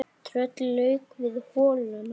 Trölli lauk við holuna